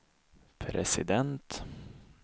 president